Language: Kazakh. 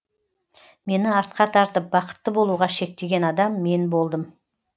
мені артқа тартып бақытты болуға шектеген адам мен болдым